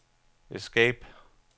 escape